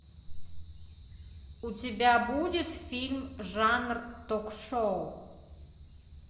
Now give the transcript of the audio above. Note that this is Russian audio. у тебя будет фильм жанр ток шоу